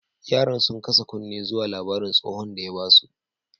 Yaran, sun kasa kunne zuwa labarin da stohon ya ba su.